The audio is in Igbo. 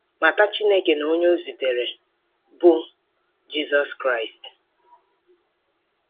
Mata Chineke na onye o zitere, bụ́ Jizọs Kraịst.